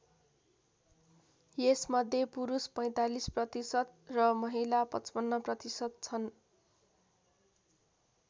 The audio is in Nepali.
यसमध्ये पुरुष ४५% र महिला ५५% छन्।